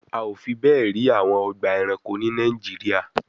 A ò fi bẹ́ẹ̀ rí àwọn ọgbà ẹranko ní Nàìjíríà